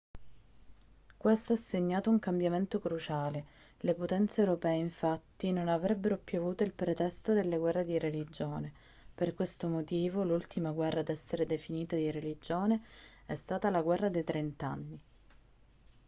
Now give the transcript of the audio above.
questo ha segnato un cambiamento cruciale le potenze europee infatti non avrebbero più avuto il pretesto delle guerre di religione per questo motivo l'ultima guerra ad essere definita di religione è stata la guerra dei trent'anni